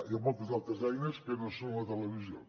hi ha moltes altres eines que no són la televisió